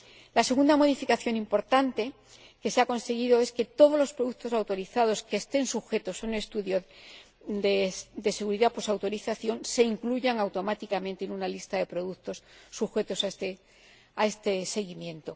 La segunda modificación importante que se ha conseguido es que todos los productos autorizados que estén sujetos a un estudio de seguridad postautorización se incluyan automáticamente en una lista de productos sujetos a este seguimiento.